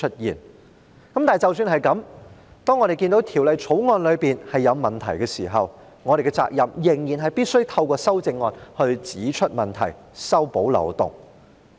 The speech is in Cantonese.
即使是這樣，當我們看到《條例草案》有問題的時候，我們仍然有責任必須透過提出修正案指出問題，修補漏洞。